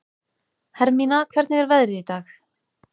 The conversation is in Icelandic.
Hermína, hvernig er veðrið í dag?